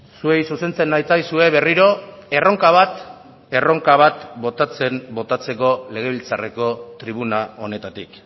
zuei zuzentzen natzaizue berriro erronka bat botatzeko legebiltzarreko tribuna honetatik